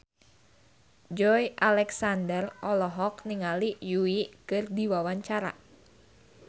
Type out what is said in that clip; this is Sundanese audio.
Joey Alexander olohok ningali Yui keur diwawancara